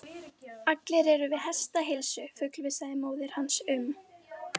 Sér að dömunni er um og ó, hvílík bjartsýni!